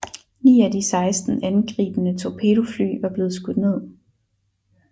Ni af de 16 angribende torpedofly var blevet skudt ned